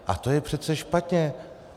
A to je přece špatně.